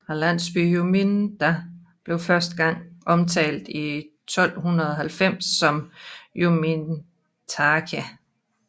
Landsbyen Juminda blev første gang omtalt i 1290 som Jumintake